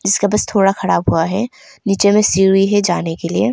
जिसका बस थोड़ा खराब हुआ है नीचे में सीढ़ी है जाने के लिए।